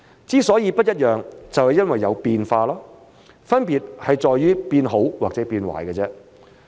之所以不一樣，就是因為有變化，分別在於變好還是變壞而已。